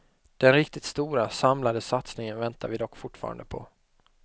Den riktigt stora, samlade satsningen väntar vi dock fortfarande på.